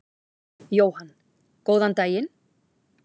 Jóhann: Góðan daginn.